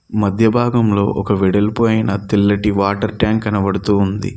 మధ్య భాగంలో ఒక వెడల్పు అయిన తెల్లటి వాటర్ ట్యాంక్ కనబడుతూ ఉంది.